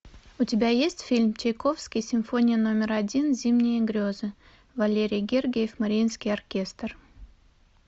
у тебя есть фильм чайковский симфония номер один зимние грезы валерий гергиев мариинский оркестр